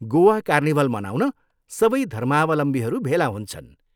Goa carnival मनाउन सबै धर्मावलम्बीहरू भेला हुन्छन्।